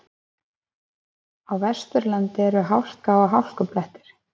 Á Vesturlandi eru hálka og hálkublettir